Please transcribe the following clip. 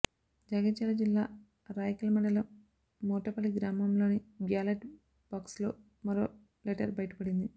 జగిత్యాల జిల్లా రాయికల్ మండపలం మూటపల్లి గ్రామంలోని బ్యాలెట్ బాక్స్లో మరో లెటర్ బయపడింది